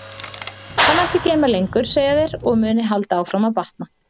Það mætti geyma lengur, segja þeir, og mundi halda áfram að batna.